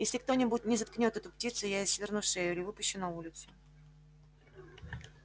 если кто-нибудь не заткнёт эту птицу я ей сверну шею или выпущу на улицу